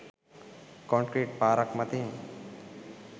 Concrete පාරක් මතින්.